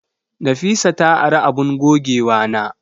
Nafisa ta ari abun gogewana.